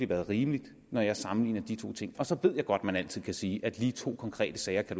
været rimeligt når jeg sammenligner de to ting så ved jeg godt at man altid kan sige at lige to konkrete sager ikke